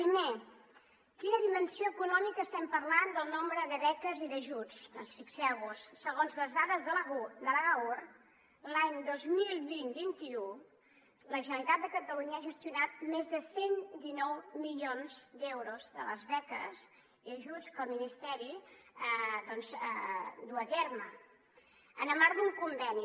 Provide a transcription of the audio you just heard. primer de quina dimensió econòmica estem parlant sobre el nombre de beques i d’ajuts doncs fixeu·vos·hi segons les dades de l’agaur l’any dos mil vint·vint un la gene·ralitat de catalunya ha gestionat més de cent i dinou milions d’euros de les beques i ajuts que el ministeri duu a terme en el marc d’un conveni